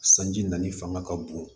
Sanji nali fanga ka bon